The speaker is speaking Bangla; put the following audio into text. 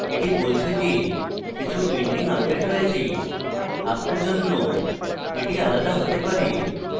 এটি বলছে যে কিছু pending আপডেট রয়েছে আপনার জন্য এটি আলাদা হতে পারে